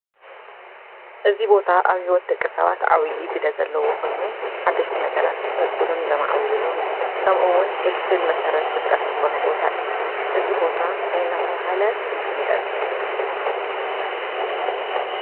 እዚ ቦታ ኣብ ሂወት ደቂ ሰባት ዓብይ ግደ ዘለዎ ኮይኑ ሓደሽቲ ነገራት ዝፈልጥሉን ዘማዕብሉልን ከምኡ እውን ፍልፍል መሰረት ፍልጠትዝኾነ ቦታ እዩ፡፡ እዚ ቦታ እንታይ እናተባሃለ ይፍለጥ?